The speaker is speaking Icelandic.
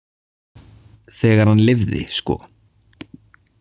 Þegar hann lifði, sko.